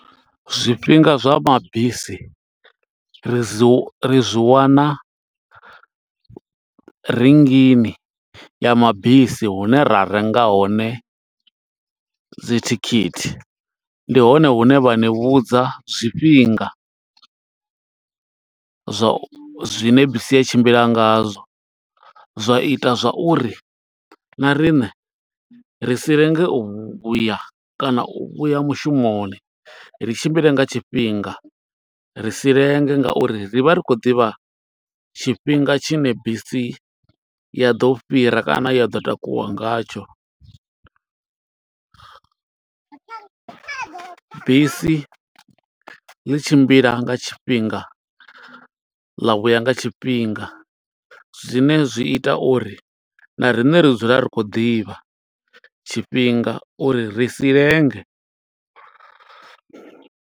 Zwifhinga zwa mabisi ri zwi, ri zwi wana rinngini ya mabisi hune ra renga hone dzi thikhithi. Ndi hone hune vha ni vhudza zwifhinga, zwo zwine bisi ya tshimbila nga zwo. Zwa ita zwa uri na riṋe ri si lenge uya kana u vhuya mushumoni. Ri tshimbile nga tshifhinga ri si lenge nga uri ri vha ri khou ḓivha tshifhinga tshine, bisi ya ḓo fhira kana ya ḓo takuwa nga tsho. Bisi ḽi tshimbila nga tshifhinga, ḽa vhuya nga tshifhinga. Zwine zwi ita uri na riṋe ri dzula ri khou ḓivha tshifhinga uri ri si lenge.